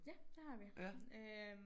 Ja det har vi øh